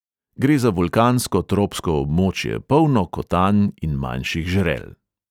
Gre za vulkansko tropsko območje, polno kotanj in manjših žrel.